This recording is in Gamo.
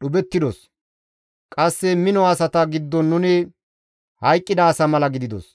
dhuphettidos. Qasse mino asata giddon nuni hayqqida asa mala gididos.